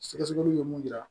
Sɛgɛsɛgɛliw ye mun yira